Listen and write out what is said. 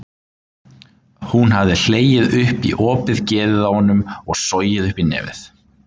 Hún hafði hlegið upp í opið geðið á honum og sogið upp í nefið.